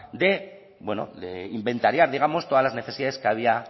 de inventariar digamos todas las necesidades que había